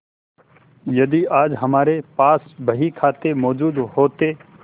यदि आज हमारे पास बहीखाते मौजूद होते